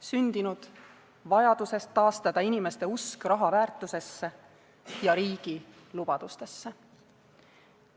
Sündinud vajadusest taastada inimeste usk raha väärtusse ja riigi lubadustesse.